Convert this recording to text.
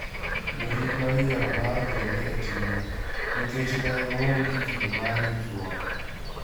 Jorit ne oyiero mar gole e timno nikech ne oonge gi kido mar ritruok.